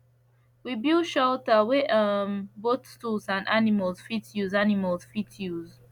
we build shelter wey um both tools and animals fit use animals fit use